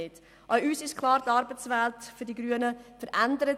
Auch uns Grünen ist klar, dass die Arbeitswelt sich verändert.